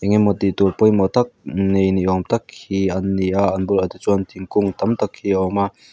engemaw tihtur pawimawh tak nei ni awm tak hi an ni a an bulah te chuan thingkung tam tak hi a awm a.